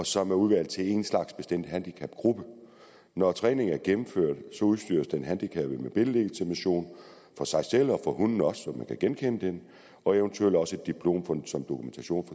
som er udvalgt til en bestemt handicapgruppe når træningen er gennemført udstyres den handicappede med billedlegitimation for sig selv og for hunden også så man kan genkende den og eventuelt også et diplom som dokumentation